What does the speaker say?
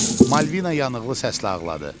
Malvina yanıqlı səslə ağladı.